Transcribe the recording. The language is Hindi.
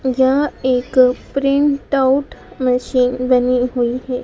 यह एक प्रिंटआउट मशीन बनी हुई है।